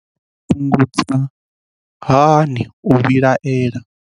Vha nga fhungudza hani u vhilaela